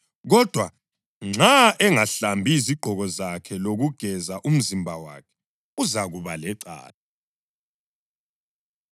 Kodwa nxa engahlambi izigqoko zakhe lokugeza umzimba wakhe, uzakuba lecala.’ ”